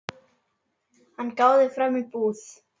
Hann gáði fram í búð.